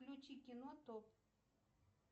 включи кино топ